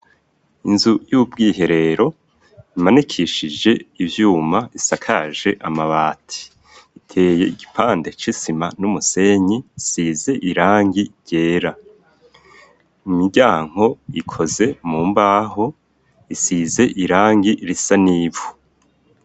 Inzu y'ubwiherero imanikishije ivyuma isakaje amabati iteye igipande c'isima n'umusenyi size irangi ryera imiryango ikoze mu mbaho isize irangi risa n'ivu.